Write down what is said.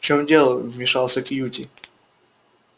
в чем дело вмешался кьюти